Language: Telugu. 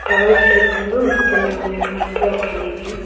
టవర్స్ రూపంలో వస్తుంది మనకి నెట్వర్క్ అనేది.